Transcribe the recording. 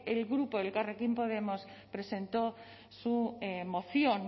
el grupo elkarrekin podemos presentó su moción